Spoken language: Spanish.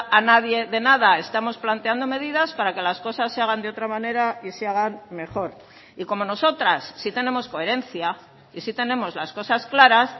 a nadie de nada estamos planteando medidas para que las cosas se hagan de otra manera y se hagan mejor y como nosotras sí tenemos coherencia y sí tenemos las cosas claras